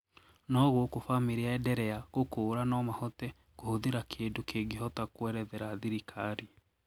Noo guku famiri yaenderea gũkũra noo mahote kuhuthira kindũ kingihota kuerethera thirikari